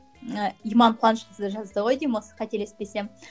ы иман қуанышқызы жазды ғой деймін осы қателеспесем